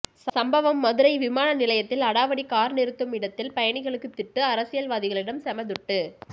சம்பவம் மதுரை விமான நிலையத்தில் அடாவடி கார் நிறுத்தும் இடத்தில் பயணிகளுக்கு திட்டு அரசியல்வாதிகளிடம் செம துட்டு